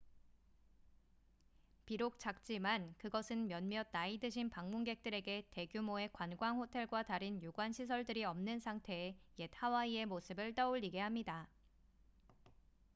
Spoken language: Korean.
비록 작지만 그것은 몇몇 나이 드신 방문객들에게 대규모의 관광호텔과 다른 유관 시설들이 없는 상태의 옛 하와이의 모습을 떠올리게 합니다